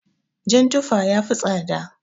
Jan tufa yafi tsada.